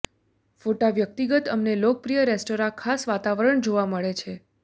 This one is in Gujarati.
ફોટા વ્યક્તિગત અમને લોકપ્રિય રેસ્ટોરાં ખાસ વાતાવરણ જોવા મળે છે